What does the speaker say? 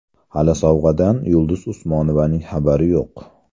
Hali sovg‘adan Yulduz Usmonovaning xabari yo‘q.